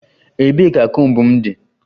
Ebee ka comb m dị?